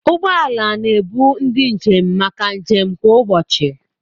Ụgbọ ala na-ebu ndị njem maka njem kwa ụbọchị.